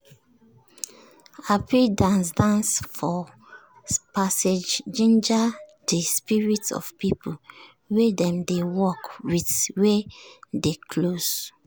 hapi dance dance for passage ginger de spirit of people wey dem dey work with wey dey close.